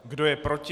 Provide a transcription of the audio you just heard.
Kdo je proti?